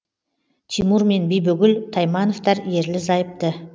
тимур мен бибігүл таймановтар ерлі зайыпты